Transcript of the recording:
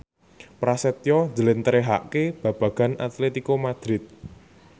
Prasetyo njlentrehake babagan Atletico Madrid